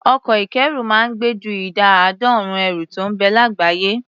Ọkọ̀ ìkẹ́rù máa ń gbé ju ìdá àádọ́rùn-ún ẹrù tó ń bẹ lágbàáyé.